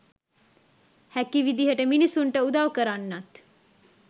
හැකි විදියට මිනිස්සුන්ට උදව් කරන්නත්